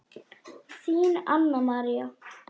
Þín, Anna María.